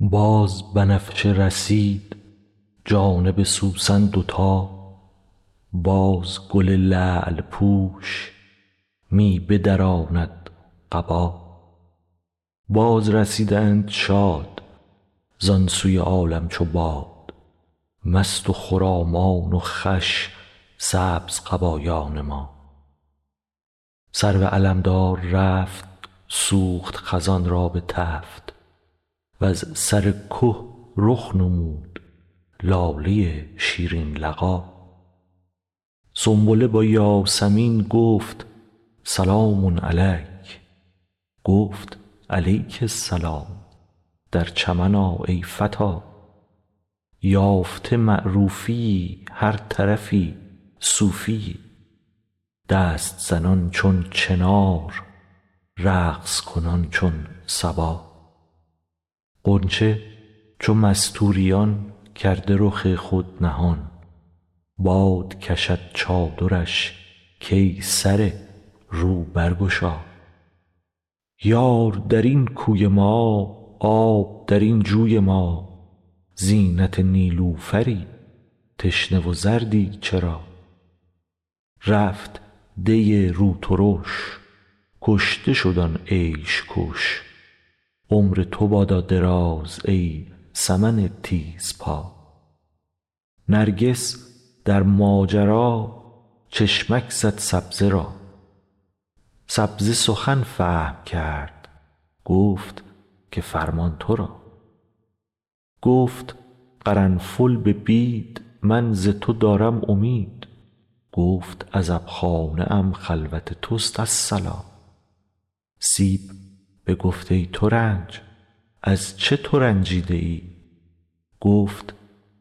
باز بنفشه رسید جانب سوسن دوتا باز گل لعل پوش می بدراند قبا بازرسیدند شاد زان سوی عالم چو باد مست و خرامان و خوش سبزقبایان ما سرو علمدار رفت سوخت خزان را به تفت وز سر که رخ نمود لاله شیرین لقا سنبله با یاسمین گفت سلام علیک گفت علیک السلام در چمن آ ای فتا یافته معروفیی هر طرفی صوفیی دست زنان چون چنار رقص کنان چون صبا غنچه چو مستوریان کرده رخ خود نهان باد کشد چادرش کای سره رو برگشا یار در این کوی ما آب در این جوی ما زینت نیلوفری تشنه و زردی چرا رفت دی روترش کشته شد آن عیش کش عمر تو بادا دراز ای سمن تیزپا نرگس در ماجرا چشمک زد سبزه را سبزه سخن فهم کرد گفت که فرمان تو را گفت قرنفل به بید من ز تو دارم امید گفت عزبخانه ام خلوت توست الصلا سیب بگفت ای ترنج از چه تو رنجیده ای گفت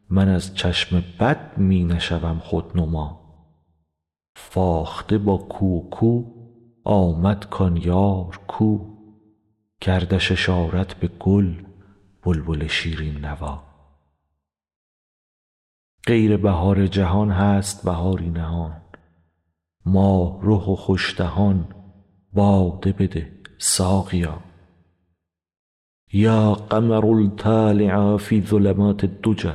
من از چشم بد می نشوم خودنما فاخته با کو و کو آمد کان یار کو کردش اشارت به گل بلبل شیرین نوا غیر بهار جهان هست بهاری نهان ماه رخ و خوش دهان باده بده ساقیا یا قمرا طالعا فی الظلمات الدجی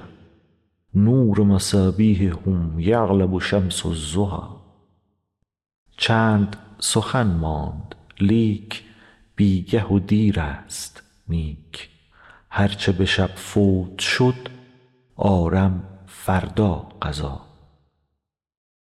نور مصابیحه یغلب شمس الضحی چند سخن ماند لیک بی گه و دیرست نیک هر چه به شب فوت شد آرم فردا قضا